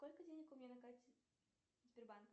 сколько денег у меня на карте сбербанка